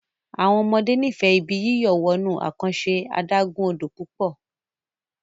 àwọn ọmọdé n'ifẹ Ibi yíyọ̀ wọnú àkànṣe adágún-odò pupo